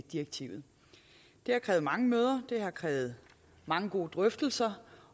direktivet det har krævet mange møder det har krævet mange gode drøftelser